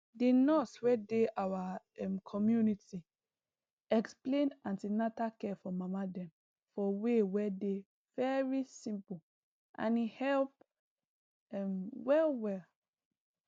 the nurse wey dey our um community explain an ten atal care for mama dem for way wey dey very simple and e help um well well